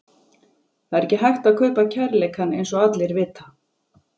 Það er ekki hægt að kaupa kærleikann eins og allir vita.